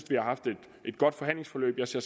vi har haft et godt forhandlingsforløb jeg ser